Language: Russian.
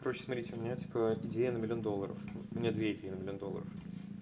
короче смотрите у меня типа идея на миллион долларов мм у меня две идеи на миллион долларов